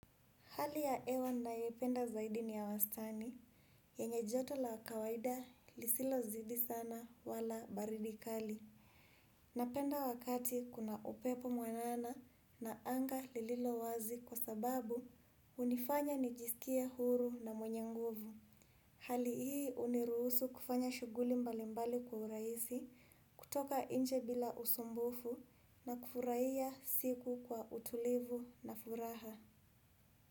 Hali ya hewa nayoipenda zaidi ni ya wastani, yenye joto la kawaida lisilozidi sana wala baridi kali. Napenda wakati kuna upepo mwanana na anga lililo wazi kwa sababu hunifanya nijisikie huru na mwenye nguvu. Hali hii huniruhusu kufanya shughuli mbalimbali kwa urahisi, kutoka nje bila usumbufu na kufurahia siku kwa utulivu na furaha.